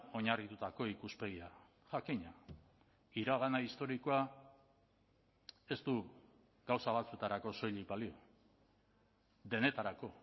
oinarritutako ikuspegia jakina iragana historikoa ez du gauza batzuetarako soilik balio denetarako